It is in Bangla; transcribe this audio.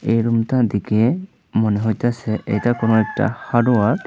এই রুম -টা দেখে মনে হইতাছে বএটা কোন একটা হার্ডওয়ার ।